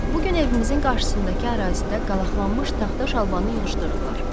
Bu gün evimizin qarşısındakı ərazidə qalaqlanmış taxta şalbanı yığışdırdılar.